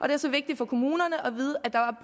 det er så vigtigt for kommunerne